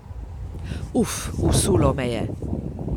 Uf, usulo me je.